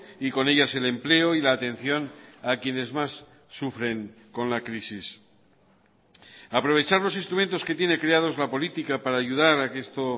y con ellas el empleo y la atención a quienes más sufren con la crisis aprovechar los instrumentos que tiene creados la política para ayudar a que esto